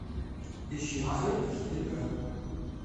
ищи цирк четыре ка